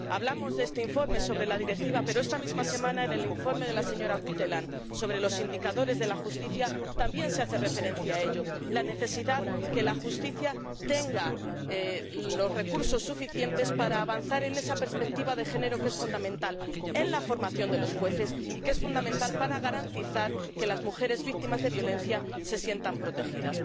Hablamos de este informe sobre la Directiva, pero esta misma semana, en el informe de la señora Guteland sobre los indicadores de la justicia, también se hace referencia a ello la necesidad de que la justicia tenga los recursos suficientes para avanzar en esa perspectiva de género, que es fundamental en la formación de los jueces y que es fundamental para garantizar que las mujeres víctimas de la violencia se sientan protegidas.